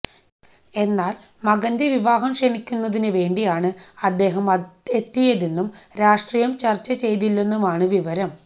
എന്നാല് മകന്റെ വിവാഹം ക്ഷണിക്കുന്നതിന് വേണ്ടിയാണ് അദ്ദേഹം എത്തിയതെന്നും രാഷ്ട്രീയം ചര്ച്ച ചെയ്തില്ലെന്നുമാണ് വിവരം